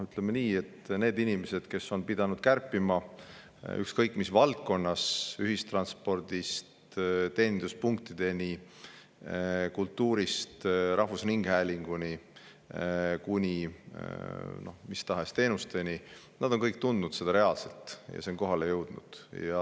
Ütleme nii, et need inimesed, kes on pidanud kärpima ükskõik mis valdkonnas, ühistranspordist teeninduspunktideni, kultuurist rahvusringhäälingu ja mis tahes teenusteni, on kõik tundnud seda reaalselt ja see on kohale jõudnud.